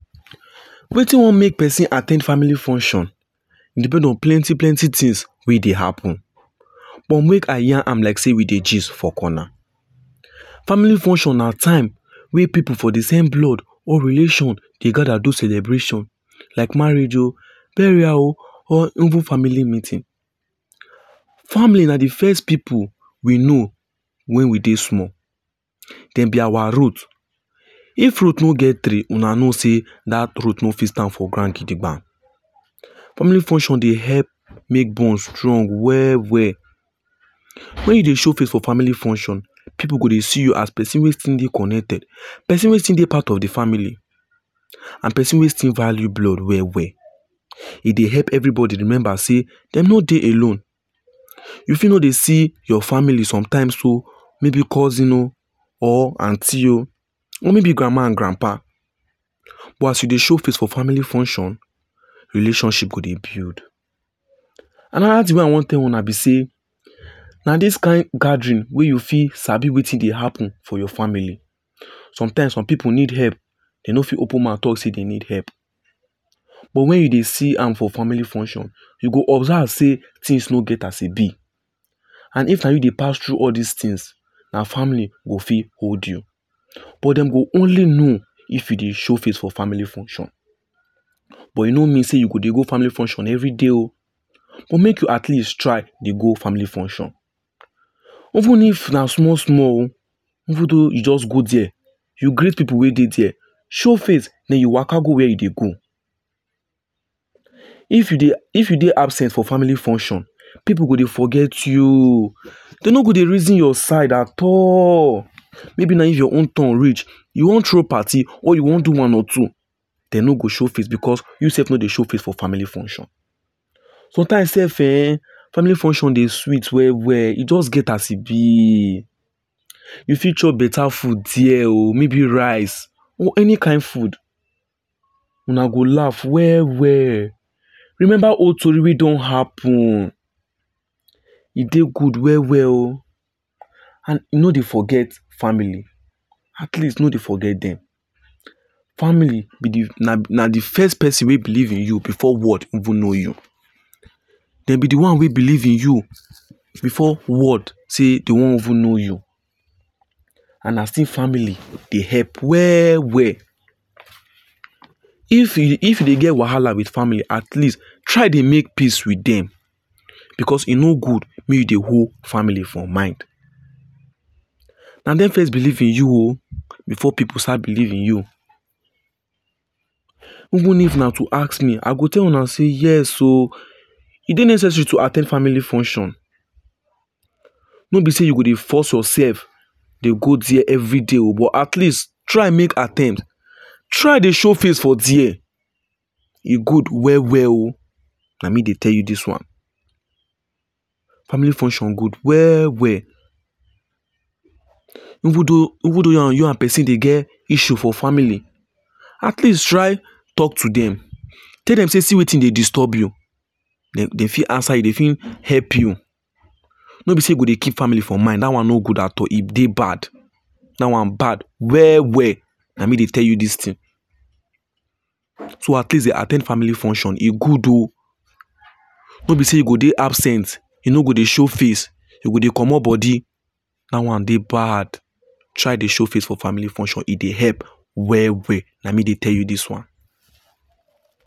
Wetin wan make person at ten d family function depend on plenty plenty things we e dey happen. But make I yarn am like sey we dey gist for corner. Family function na time wey people for de same blood or relation dey gather do celebrations like marriage oh, burial oh or even family meeting. Family na de first people we know when we dey small. dem be our root. If root no get tree una know sey that root no fit stand for ground gidigba. Family function dey help make bond strong well well. When you dey show face for family function pipu go dey see you as person wey still dey connected. Person wey still dey part of de family and person wey still value blood well well. E dey help everybody remember sey dem no dey alone. You fit no dey see your family sometimes oh maybe cousin oh or aunty oh or maybe grandma and grandpa but as you dey show face for family function relationship go dey build. Another thing wey I wan tell una be sey na this kind gathering wey you fit sabi wetin dey happen for your family. Sometimes some people need help dem no fit open mouth talk dey say dem need help. But when you dey see am for family function, you go observe sey, things no get as e be and if na you dey pass through all these things, na family go fit hold you. But dem go only know if you dey show face for family function. But e no mean sey you go dey go family function every day oh, but make you at least try dey go family function. Even if na small small oh, even though you just go there, you greet pipu wey dey there, show face then you waka go where you dey go. If you if you dey absent for family function, pipu go dey forget you. Dem no go dey reason your side at all. Maybe na if your own turn reach you wan throw party, or you wan do one or two, dem no go show face because you sef no dey show face for family function. Sometimes self eh, family function dey sweet well well. E just get as e be, you fit chop beta food there oh maybe rice or any kind food. Una go laugh well well. Remember old tori wey don happen e dey good well well oh and no dey forget family. At least no dey forget dem. Family be de na de first person wey believe in you before world even know you. Dem be de one wey believe in you before world sey dey wan even know you and na still family dey help well well. If e get wahala with family at least try dey make peace with them because e no good make you dey hold family for mind. Na dem first believe in you oh before pipu start believe in you. Even if na to ask me, I go tell Una see yes oh e dey necessary to at ten d family function. No be sey you go dey force yourself dey go there every day oh but at least try make attempt, try dey show face for there. E good well well oh. Na me dey tell you this one. Family function good well well. Even though even though you and you and person dey get issue for family, at least try talk to them, tell dem sey see wetin dey disturb you. Dem dem fit answer you dey fit help you. No be sey you go dey keep family for mind that one no good at all e dey bad that one bad well well. Na me dey tell you this thing. So at least dey at ten d family function e good oh, no be sey you go dey absent, you no go dey show face, you go dey comot body. That one dey bad. Try dey show face for family function, e dey help, well well. Na me dey tell you this one.